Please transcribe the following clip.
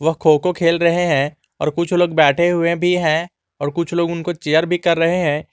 वह खो खो खेल रहे हैं और कुछ लोग बैठे हुए भी हैं और कुछ लोग उनको चियर भी कर रहे हैं।